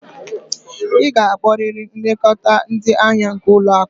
Ị ga-akpọrịrị nlekọta ndị ahịa nke ụlọ akụ!